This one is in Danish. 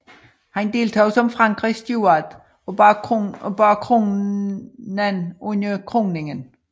Han deltog som Frankrigs Steward og bar kronen under kroningen